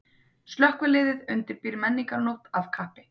Slökkviliðið undirbýr menningarnótt af kappi